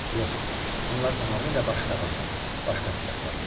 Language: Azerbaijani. Yox, bunlar tamamilə başqa adamlar, başqa sifətlər idi.